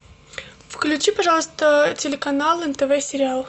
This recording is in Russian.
включи пожалуйста телеканал нтв сериалы